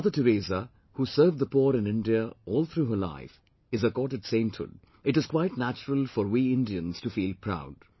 When Mother Teresa, who served the poor in India all through her life, is accorded Sainthood, it is quite natural for we Indians to feel proud